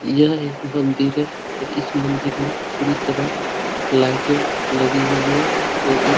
यह एक मंदिर है और इस मंदिर में पूरी तरह लाइटे लगी हुई है।